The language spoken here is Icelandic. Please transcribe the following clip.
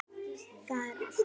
Það er allt.